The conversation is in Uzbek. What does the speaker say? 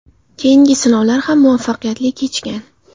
Keyingi sinovlar ham muvaffaqiyatli kechgan.